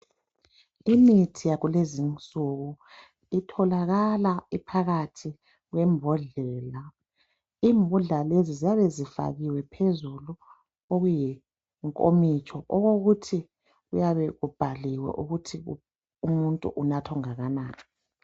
Imithi yakulezinsuku itholakala iphakathi kwembodlela. Imbodlela lezi ziyabe zifakiwe phezulu okuyinkomitsho okuyabe kubhaliwe ukuthi umuntu kumele anathe okungakanani.